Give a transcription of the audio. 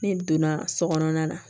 N'i donna so kɔnɔna na